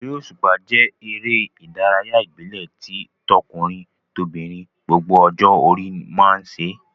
Eré òṣùpá jẹ́ eré ìdárayá ìbílẹ̀ tí tọkùnrin-tobìnrin gbogbo ọjọ́ orí máa ń ṣe.